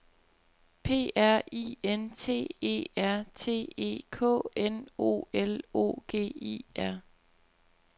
P R I N T E R T E K N O L O G I E R